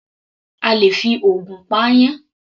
A lè fi ògùn pa aáyán.